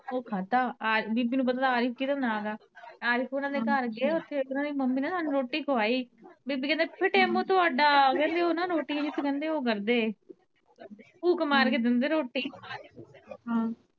ਓ ਖਾਦਾ ਬੀਬੀ ਨੂੰ ਪਤਾ ਥਾ ਆਰਿਫ਼ ਕਿਦਾ ਨਾਂ ਆ ਆਰਿਫ਼ ਉਨ੍ਹਾਂ ਦੇ ਘਰ ਗਏ ਓਥੇ ਉਨ੍ਹਾਂ ਦੀ ਮੰਮੀ ਨੇ ਸਾਨੂੰ ਰੋਟੀ ਖਵਾਈ ਬੀਬੀ ਕੇਂਦੇ ਫਿਟੇ ਮੂੰਹ ਤੁਆਡਾ ਉਨ੍ਹਾਂ ਦੀ ਰੋਟੀ ਨੀ ਓ ਕਰਦੇ ਫੂਕ ਮਾਰ ਕੇ ਦਿੰਦੇ ਰੋਟੀ